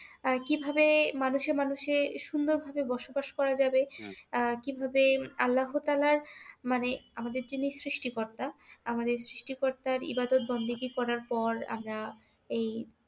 আহ কিভাবে মানুষে মানুষে সুন্দর ভাবে বসবাস করা যাবে আহ কিভাবে আল্লাহ তাআলার মানে আমাদের যিনি সৃষ্টিকর্তা আমাদের সৃষ্টিকর্তার ইবাদাত বন্দেগী করার পর আমরা এই